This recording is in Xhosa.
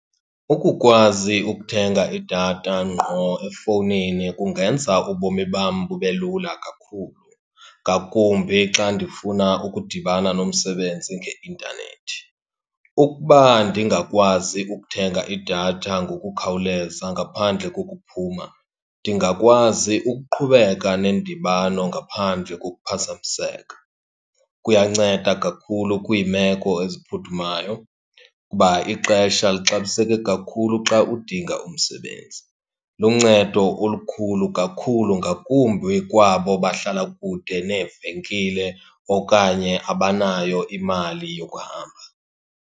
Ukukwazi ukuthenga idatha ngqo efowunini kungenza ubomi bam bube lula kakhulu ngakumbi xa ndifuna ukudibana nomsebenzi ngeintanethi. Ukuba ndingakwazi ukuthenga idatha ngokukhawuleza ngaphandle kokuphuma ndingakwazi ukuqhubeka nendibano ngaphandle kokuphazamiseka. Kuyanceda kakhulu kwiimeko eziphuthumayo, kuba ixesha lixabiseke kakhulu xa udinga umsebenzi. Luncedo olukhulu kakhulu, ngakumbi kwabo bahlala kude neevenkile okanye abanayo imali yokuhamba.